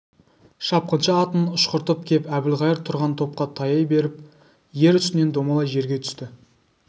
шапқыншы атын ұшқыртып кеп әбілқайыр тұрған топқа таяй беріп ер үстінен домалай жерге түсті